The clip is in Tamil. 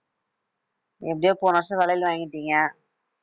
எப்படியோ போன வருஷம் வளையல் வாங்கிட்டிங்க